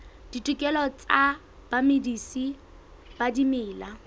ditokelo tsa bamedisi ba dimela